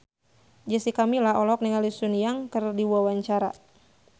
Jessica Milla olohok ningali Sun Yang keur diwawancara